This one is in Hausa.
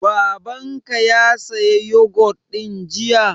Baban ka ya saya yogut ɗin jiya?